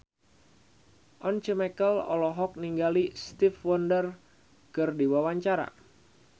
Once Mekel olohok ningali Stevie Wonder keur diwawancara